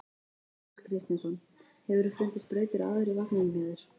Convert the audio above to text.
Jóhannes Kristjánsson: Hefurðu fundið sprautur áður í vagninum hjá þér?